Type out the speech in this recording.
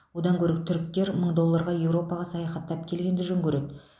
одан гөрі түріктер мың долларға еуропаға саяхаттап келгенді жөн көреді